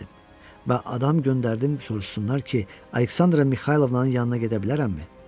Və adam göndərdim, soruşsunlar ki, Aleksandra Mixaylovnanın yanına gedə bilərəmmi?